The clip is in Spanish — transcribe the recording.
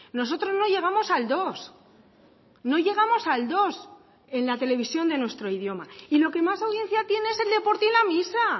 nosotros no llegamos al dos no llegamos al dos en la televisión de nuestro idioma y lo que más audiencia tiene es el deporte y la misa